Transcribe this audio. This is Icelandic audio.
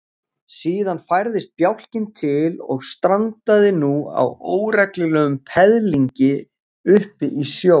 Síðan færðist bjálkinn til og strandaði nú á óreglulegum peðlingi uppi í sjó.